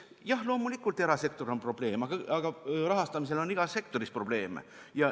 Jah, loomulikult, erasektor on probleem, aga rahastamisel on igas sektoris probleeme.